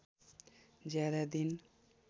ज्यादा दिन